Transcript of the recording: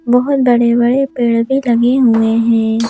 बहोत बड़े बड़े पेड़ भी लगे हुए हैं।